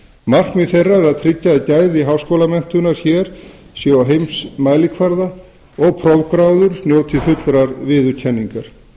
markmið þeirra er að tryggja að gæði háskólamenntunar hér séu á heimsmælikvarða og prófgráður njóti fullrar viðurkenningar